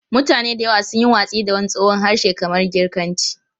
Mutane da yawa sun yi watsi da wani tsohon harshe kamar Girkanci.